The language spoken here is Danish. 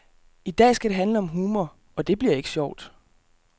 I dag skal det handle om humor, og det bliver ikke sjovt.